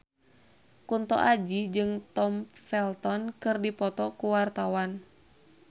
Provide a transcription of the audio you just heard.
Kunto Aji jeung Tom Felton keur dipoto ku wartawan